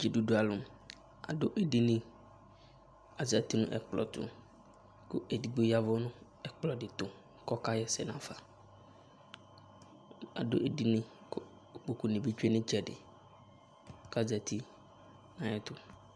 Dzidʋdʋ alʋ adʋ edini Azǝtɩ nʋ ɛkplɔ tʋ, kʋ edigbo ya ɛvʋ nʋ ɛkplɔdɩ tʋ kʋ ɔka ɣa ɛsɛ nafa Adʋ edini kʋ kpokʋ nɩ bɩ tsʋe nʋ ɩtsɛdɩ, kʋ azǝtɩ nʋ ayʋ ɛtʋ